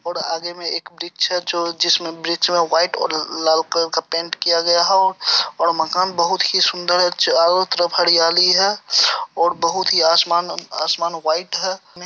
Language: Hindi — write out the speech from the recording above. और आगे में एक वृक्ष है जो जिसमे वृक्ष में व्हाइट और लाल कलर का पेंट किया गया है और-और माकन बहुत ही सुन्दर है चरों तरफ हरियाली है और बहुत ही आसमान-असमान व्हाइट है।